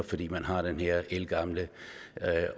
fordi man har den her ældgamle